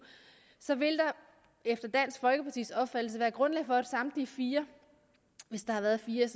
efter dansk folkepartis opfattelse være grundlag for at samtlige fire hvis der har været fire